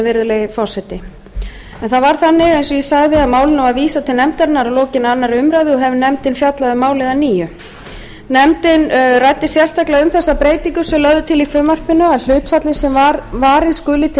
virðulegi forseti en það var þannig eins og ég sagði að málinu var vísað til nefndarinnar að lokinni annarri umræðu og hefur nefndin fjallað um málið að nýju nefndin ræddi sérstaklega þá breytingu sem lögð er til í frumvarpinu að hlutfallið sem varið skuli til